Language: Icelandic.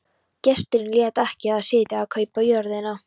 Gesturinn lét ekki við það sitja að kaupa jörðina.